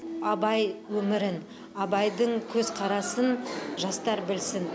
абай өмірін абайдың көзқарасын жастар білсін